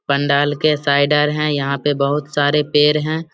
पंडाल के साइड अर हैं यहां पे बहुत सारे पेड़ हैं।